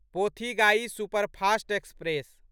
Pothigai superfast express